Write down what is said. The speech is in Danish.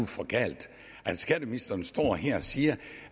for galt at skatteministeren står her og siger